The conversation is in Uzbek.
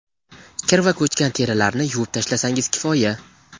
kir va ko‘chgan terilarni yuvib tashlasangiz kifoya.